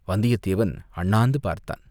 வந்தியத்தேவன் அண்ணாந்து பார்த்தான்.